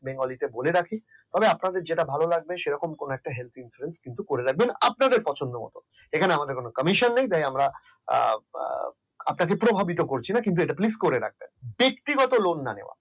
Bengali বলে রাখি আপনাদের যেটা ভালো লাগবে সেরকম কোন একটা helth insurance করে রাখবেন আপনাদের পছন্দমত। এখানে আমাদের কোন commission নেই তাই আমরা আহ আপনাকে প্রভাবিত করছি না আপনি please এটা করে রাখবেন ব্যক্তিগত lone না নেওয়া